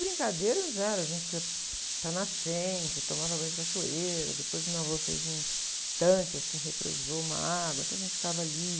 Brincadeiras eram, a gente ia para nascente, tomava banho de cachoeira, depois meu avô fez um tanque, assim, represou uma água, então a gente ficava ali.